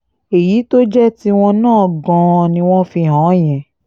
èyí tó jẹ́ tiwọn náà gan-an ni wọ́n fi hàn án yẹn